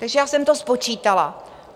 Takže já jsem to spočítala.